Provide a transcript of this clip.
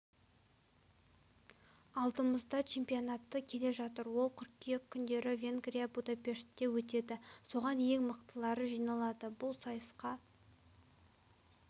алдымызда чемпионаты келе жатыр ол қыркүйек күндері венгрия будапештте өтеді соған ең мықтылары жиналады бұл сайысқа